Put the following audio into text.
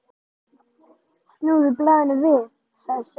Snúðu blaðinu við, sagði Sveinn.